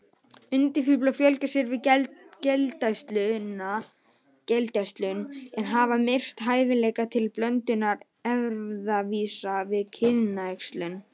Undafíflar fjölga sér við geldæxlun, en hafa misst hæfileika til blöndunar erfðavísa við kynæxlun.